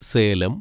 Salem